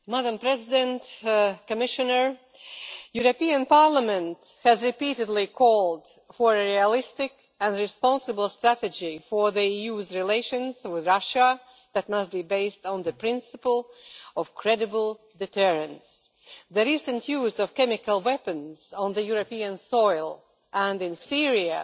Madam President, the European Parliament has repeatedly called for a realistic and responsible strategy for the EU's relations with Russia that must be based on the principle of credible deterrence. The recent use of chemical weapons on European soil and in Syria,